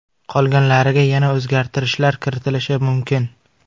Qolganlariga yana o‘zgartirishlar kiritilishi mumkin.